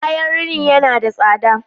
Kayan rini na da tsada